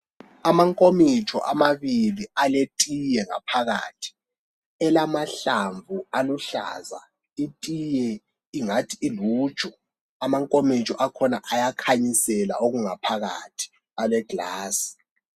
Amankomitsho amabili aletiye ngaphakathi elamahlamvu aluhlaza itiye ingathi iluju amankomitsho akhona ayakhanyisela okungaphakathi ale glass